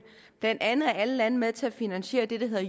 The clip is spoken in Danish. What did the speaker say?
blandt andet er alle lande med til at finansiere det det der